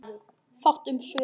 Fátt um svör.